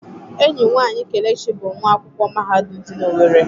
Enyi nwanyị Kelechi bụ nwa akwụkwọ mahadum dị na Owerri.